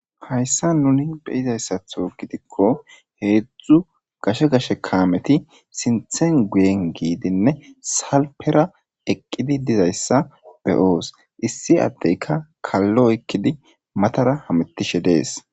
hayssa nuni beyizayssatho gidikko heedzdzu gashe gashe kaameti sinthen guyen giidinne salpera eqqidi dizayssa beyoos issi addeyka kallo ekkidi matara hamettishe dees